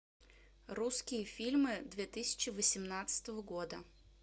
русские фильмы две тысячи восемнадцатого года